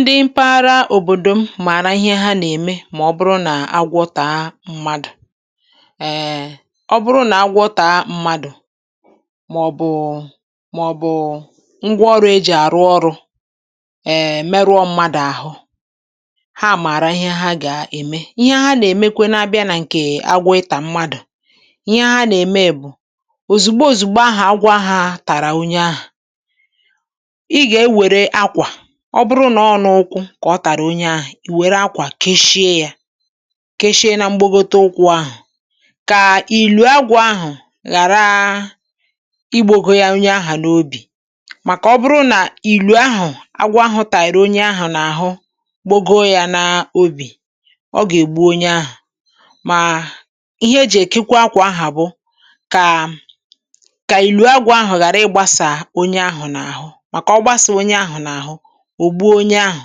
Ndị mpaghara òbòdò m màrà ihe ha na-eme mà ọ bụrụ nà agwọ taa mmadù. um ọ bụrụ nà agwọ taa mmadù maọbu màọbụ ngwa ọrụ ejì àrụ ọrụ́ um emerụọ mmadù àhụ, ha màrà ihe ha gà-ème. Ihe ha nà-èmekwenu na-abịa nà ǹkè agwọ ịtà mmadù, ihe ha nà-ème bụ,̀ òzùgbo òzùgbo ahụ agwọ aha tàrà onye ahụ, ị ga-ewere akwa, ọ bụrụ nọ n'ụkwụ kà ọ tàrà onye ahụ,̀ i wère akwà keshie yȧ keshie nà mgbagote ụkwụ ahụ,̀ kà ìlù agwọ ahụ̀ ghàráá igbógo ya onye ahụ̀ n'obì màkà ọ bụrụ nà ìlù ahụ̀ agwọ ahụ̀ tàyịrị̀onye ahụ̀ nà àhụ gbogȯ yȧ n’obì, ọ gà ègbu onye ahụ.̀ Mà ihe e jì ekekwa akwà ahụ̀ bụ kà kà ìlù agwọ ahụ̀ ghàra ịgbȧsà onye ahụ̀ n'ahụ maka ọ gbasaa onye ahụ n'ahụ, o gbuo onye ahụ.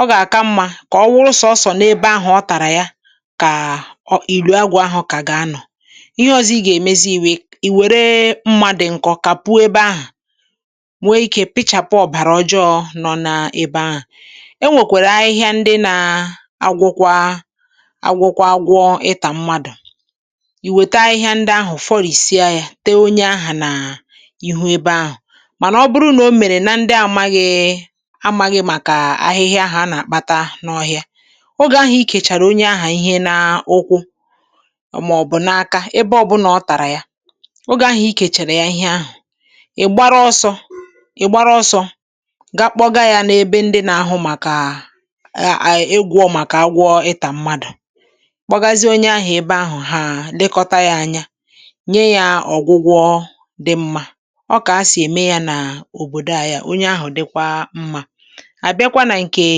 Ọ gà-àka mmȧ kà ọ wụrụ sọọsọ̀ n’ebe ahụ̀ ọ tàrà ya kàà ilu agwọ ahụ̀ kà gà-anọ.̀ Ihe ọzọ ị gà-èmezi ìwè ìwère mma dị nkọ kapuo ebe ahụ, nwee ikė pịchàpụ ọbara ọjọọ nọ n’ebe ahụ. E nwèkwèrè ahịhịa ndị naa-agwọkwa agwọkwa agwọ ịtà mmadụ. Iwète ahịhịa ndị ahụ, fọrìsịa ya, tee onye ahà n'ihu ebe ahụ mànà ọ bụrụ na o mèrè na ndị a amaghị́ị amaghị màkà ahịhịa ahụ a na-akpata n’ọhịa, ogè ahụ ikèchàrà onye ahụ ihe na ụkwụ maọbụ n’aka ebe ọbụna ọ tàrà ya, ogè ahụ̀ ikèchàrà ya ihe ahụ, ịgbara ọsọ ịgbara ọsọ gaa kpọga ya n’ebe ndị na-ahụ màkà ee aa ịgwọ màkà agwọ ịtà mmadụ; kpọgazie onye ahụ̀ ebe ahụ, ha lekọta ya anya, nye ya ọgwụgwọ dị mmá. Ọọ́kà ha sị ème ya n'òbòdò ayi à onye ahụ̀ dịkwa mmá. Ábịakwa nà ǹkèè,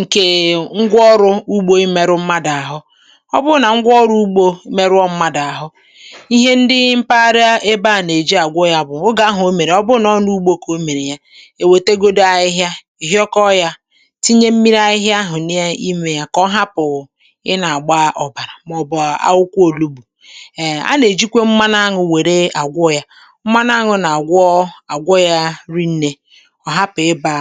nkèè ngwaọrụ̇ ugbó imėrụ mmadụ̀ àhụ. Ọ bụrụ nà ngwaọrụ ugbȯ merụọ mmadụ̀ àhụ, ihe ndị ḿpaghara ebe à nà-èji àgwọ ya bụ, oge ahụ o mèrè ọ bụrụ nà ọ n’ugbȯ kà o mèrè ya, è wètegodu ahịhịa, hịọkọọ ya tinye mmiri ahịhịa ahụ̀ n’imė yȧ kà ọ hapụ ị nà-àgba ọbàrà màọbụ a akwụkwọ òlúgbù. um a nà-èjikwe mmanụ aṅụ wère àgwọ ya. Mmanụ aṅụ nà àgwọọ àgwọ ya rinnė, ọhapu ịba.